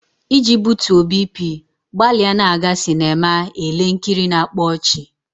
Iji butuo BP, gbalịa na-aga sinema ele nkiri na-akpa ọchị.